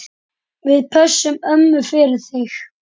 Við pössum ömmu fyrir þig.